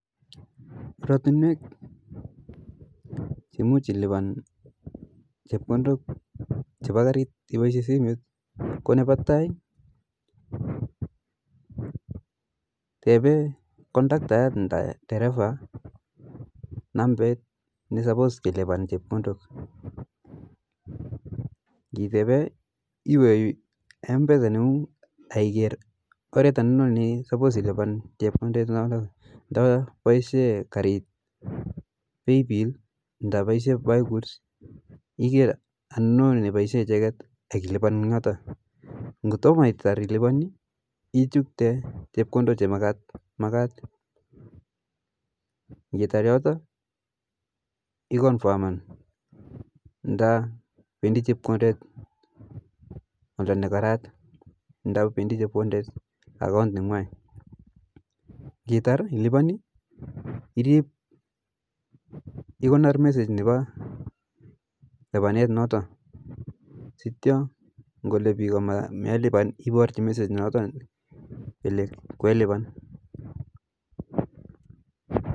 Oratinwek che muj lipan chepkondok che pa karit ipaishe simet ko ,nepa tai tepee kondaktayat nda terefa nambet ne supos kilipan chepkondot, ngitepee iwe mpesa nengung akiker orot anono ne supos ilipan chepkondet noto nda paishe karit paypill nda paishe buy goods iker anono ne paishe icheket akilipan eng yote, ngotoma itar ilipan ichukte chepkondok che makat, ngitar yoto ikonfaman nda pedi chepkondet oldo ne karat nda pendi akaunt negwai, ngitar ilipan ikonor message nepa lipanet noto sityo ngole biko melipan iparchi message noto kole kelipan